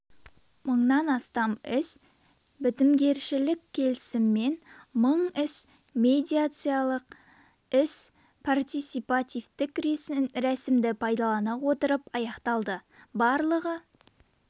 мыңнан астам іс бітімгершілік келісіммен мың іс медиациямен іс партисипативтік рәсімді пайдалана отырып аяқталды барлығы